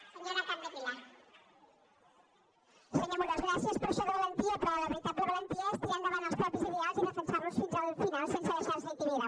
senyor amorós gràcies per això de la valentia però la veritable valentia és tirar endavant els propis ideals i defensar los fins al final sense deixar se intimidar